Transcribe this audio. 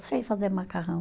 Sei fazer macarrão.